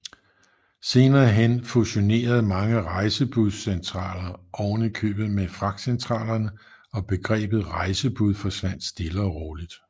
Senere hen fusionerede mange rejsebudscentraler ovenikøbet med fragtcentralerne og begrebet rejsebud forsvandt stille og roligt